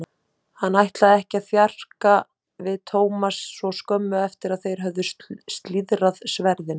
Hann ætlaði ekki að þjarka við Thomas svo skömmu eftir að þeir höfðu slíðrað sverðin.